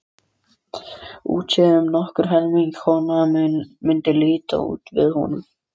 Útséð um að nokkur almennileg kona mundi líta við honum.